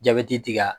Jabɛti ka